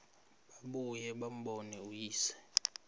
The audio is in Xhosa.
babuye bambone uyise